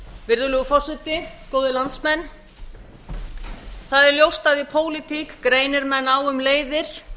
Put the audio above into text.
virðulegur forseti góðir landsmenn það er ljóst að í pólitík greinir menn á um leiðir